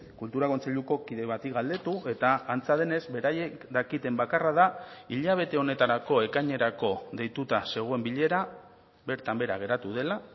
kultura kontseiluko kide bati galdetu eta antza denez beraiek dakiten bakarra da hilabete honetarako ekainerako deituta zegoen bilera bertan behera geratu dela